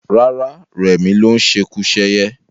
Rárá, rẹmi ló ń ṣekuṣẹyẹ